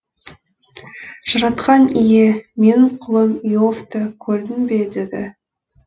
жаратқан ие менің құлым иовты көрдің бе деді